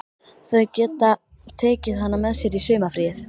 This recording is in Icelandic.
Þau geta tekið hana með sér í sumarfríið.